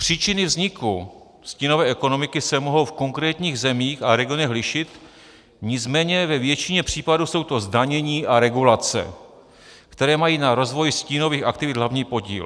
Příčiny vzniku stínové ekonomiky se mohou v konkrétních zemích a regionech lišit, nicméně ve většině případů jsou to zdanění a regulace, které mají na rozvoji stínových aktivit hlavní podíl.